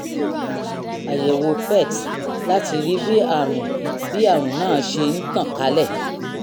àyẹ̀wò pet láti rí bí àrùn bí àrùn náà ṣe ń tàn kálẹ̀